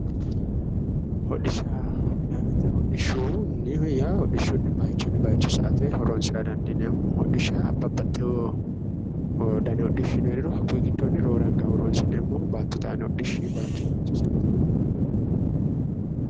Hodishshaho yinnanni woyte hodishshuni bayichunni bayicho sa"ate horonsira dandiineemmo ,hodhishsha babbaxeyo danni hodhishshino heeriro ,hakkuyi giddoni roore horonsi'neemmohu baattote aani hodhishshi